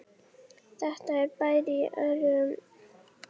Þetta er bær í örum vexti með blómlegri útgerð þilskipa.